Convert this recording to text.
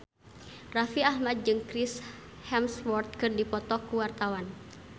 Raffi Ahmad jeung Chris Hemsworth keur dipoto ku wartawan